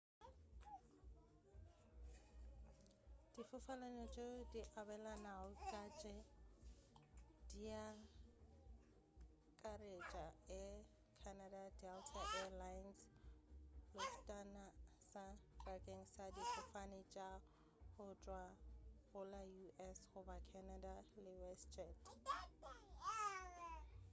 difofane tšeo di abelanago ka tše diakaretša air canada delta air lines lufthansa bakeng sa difofane tša go tšwa go la u.s. goba canada le westjet